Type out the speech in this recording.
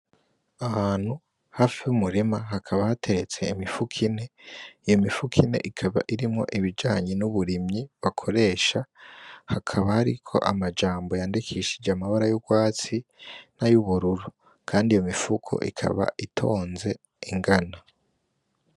Ahantu hafi yumurima hakaba hateretse imifuko ine iyo mifuko ine ikaba irimwo ibijanye n'uburimyi bakoresha hakaba hariko amajambo yandikishije amabara y'urwatsi n'ayubururu, kandi iyo mifuko ikaba itonze ingana.